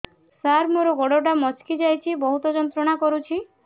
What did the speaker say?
ସାର ମୋର ଗୋଡ ଟା ମଛକି ଯାଇଛି ବହୁତ ଯନ୍ତ୍ରଣା କରୁଛି